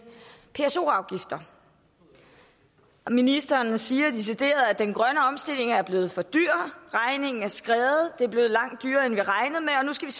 pso afgifter ministeren siger decideret at den grønne omstilling er blevet for dyr at regningen er skredet at det er blevet langt dyrere end vi af